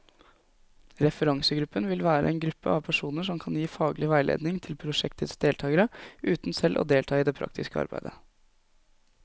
Referansegruppen vil være en gruppe av personer som kan gi faglig veiledning til prosjektets deltagere, uten selv å delta i det praktiske arbeidet.